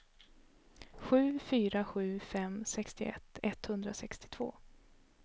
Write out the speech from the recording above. sju fyra sju fem sextioett etthundrasextiotvå